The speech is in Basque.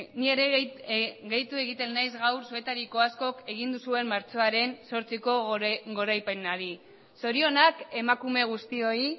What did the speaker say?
ni ere gehitu egiten naiz gaur zuetariko askok egin duzuen martxoaren zortziko goraipenari zorionak emakume guztioi